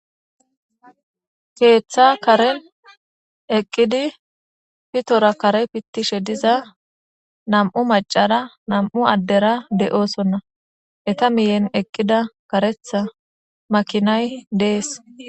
keeththa karen eqqidi pitora kare pittishe diza nam'u macara nam'u addera de7oosonna eta miyen eqqida karetha makinay dees